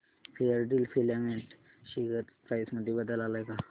Fairdeal filament share price मध्ये बदल आलाय का